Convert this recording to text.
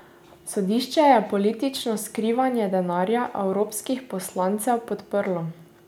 Sodišče je politično skrivanje denarja evropskih poslancev podprlo.